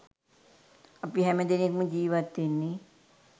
අපි හැම දෙනෙක්‌ම ජීවත් වෙන්නේ